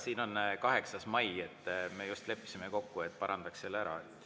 Siin on 8. mai, aga me leppisime kokku, et parandaks selle ära.